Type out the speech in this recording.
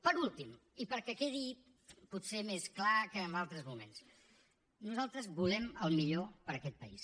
per últim i perquè quedi potser més clar que en altres moments nosaltres volem el millor per a aquest país